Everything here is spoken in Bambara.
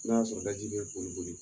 N'o y'a sɔrɔ lajeli yɛrɛ tun ye joli ye?